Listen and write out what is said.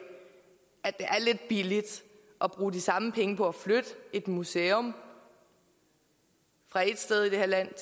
det er lidt billigt at bruge de samme penge på at flytte et museum fra ét sted i det her land